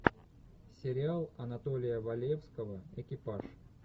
сериал анатолия валевского экипаж